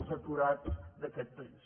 els aturats d’aquest país